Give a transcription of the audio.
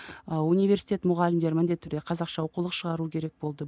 ыыы университет мұғалімдері міндетті түрде қазақша оқулық шығару керек болды